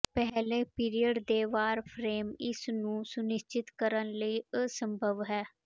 ਪਹਿਲੇ ਪੀਰੀਅਡ ਦੇ ਵਾਰ ਫਰੇਮ ਇਸ ਨੂੰ ਸੁਨਿਸ਼ਚਿਤ ਕਰਨ ਲਈ ਅਸੰਭਵ ਹੈ